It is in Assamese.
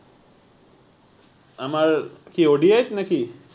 আমাৰ কি ODI ত নে কি?